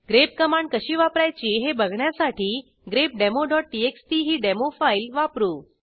grep command कशी वापरायची हे बघण्यासाठी grepdemoटीएक्सटी ही डेमो फाईल वापरू